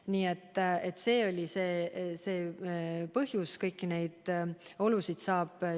Nii et see oli see põhjus.